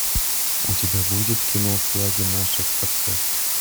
у тебя будет кино флаги наших отцов